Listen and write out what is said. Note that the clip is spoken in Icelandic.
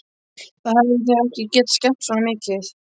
Þá hefðu þau ekki getað skemmt svona mikið.